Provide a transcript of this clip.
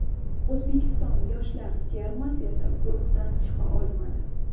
O‘zbekiston yoshlar termasi esa guruhdan chiqa olmadi.